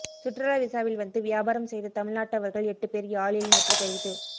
சுற்றுலா விசாவில் வந்து வியாபாரம் செய்த தமிழ்நாட்டவர்கள் எட்டுப்பேர் யாழில் நேற்றுக் கைது